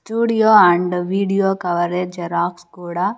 Studio and video coverage xerox కూడా.